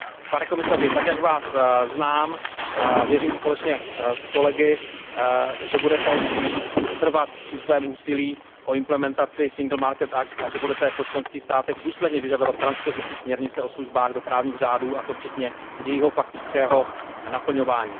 Pane komisaři, tak jak Vás znám, věřím společně s kolegy, že budete pokračovat ve svém úsilí o implementaci Single Market Act a že budete po členských státech důsledně vyžadovat transpozici směrnice o službách do právních řádů, a to včetně jejího faktického naplňování.